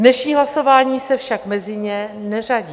Dnešní hlasování se však mezi ně neřadí.